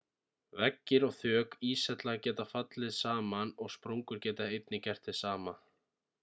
veggir og þök íshella geta fallið saman og sprungur geta einnig gert hið sama